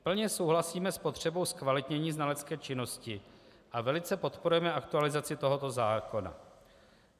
Plně souhlasíme s potřebou zkvalitnění znalecké činnosti a velice podporujeme aktualizaci tohoto zákona.